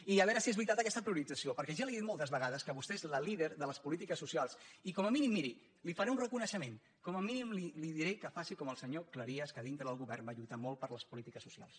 i a veure si és veritat aquesta priorització perquè ja li he dit moltes vegades que vostè és la líder de les polítiques socials i com a mínim miri li faré un reconeixement com a mínim li diré que faci com el senyor cleries que dintre del govern va lluitar molt per les polítiques socials